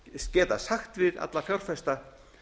geta sagt við alla fjárfesta